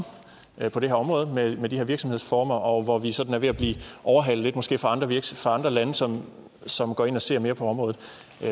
på det her område med de her virksomhedsformer og hvor vi måske sådan er ved at blive overhalet af andre lande som som går ind og ser mere på området